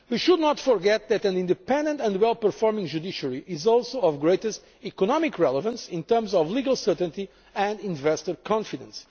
closely. We should not forget that an independent and well performing judiciary is also of the greatest economic relevance in terms of legal certainty and investor confidence.